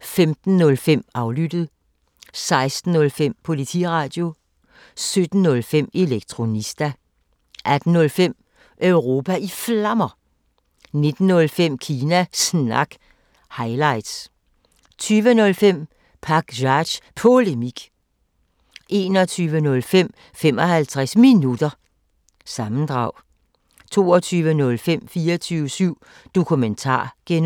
15:05: Aflyttet 16:05: Politiradio 17:05: Elektronista 18:05: Europa i Flammer 19:05: Kina Snak – highlights 20:05: Pakzads Polemik 21:05: 55 Minutter – sammendrag 22:05: 24syv Dokumentar (G) 23:05: